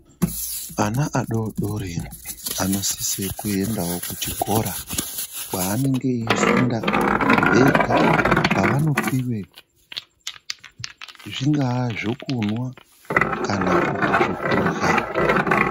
Ana adodori anosisewo kuenda kuchikora kwaanenge eifunda vega ,kwavanopiwe zvingava zvekunwa kana kuti kurya .